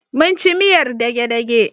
Mun ci miyar dage-dage.